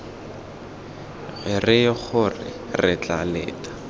reye gore re tla leta